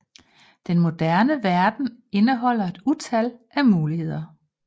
Den moderne verden indeholder et utal af muligheder